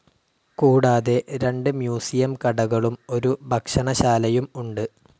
കൂടാതെ രണ്ട് മ്യൂസിയം കടകളും ഒരു ഭക്ഷണശാലയും ഉണ്ട്.